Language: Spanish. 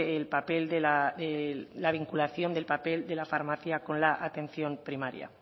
el papel de la vinculación del papel de la farmacia con la atención primaria